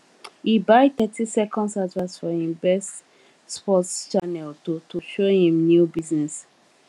he buy thirty seconds advert for him best sports channel to to show him new business